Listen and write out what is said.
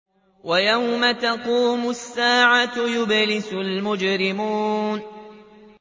وَيَوْمَ تَقُومُ السَّاعَةُ يُبْلِسُ الْمُجْرِمُونَ